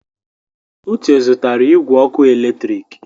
Uche zụtara igwe ọkụ eletrik.